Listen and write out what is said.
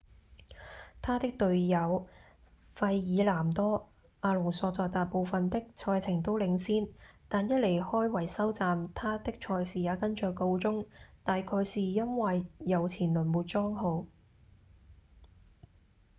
他的隊友費爾南多·阿隆索在大部分的賽程都領先但一離開維修站他的賽事也跟著告終大概是因為右前輪沒裝好